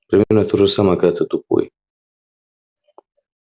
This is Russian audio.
примерно то же самое когда ты тупой